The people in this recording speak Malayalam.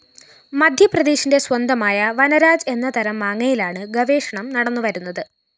മധ്യപ്രദേശിന്റെ സ്വന്തമായ വനരാജ് എന്ന തരം മാങ്ങയിലാണ് ഗവേഷണം നടന്നുവരുന്നത്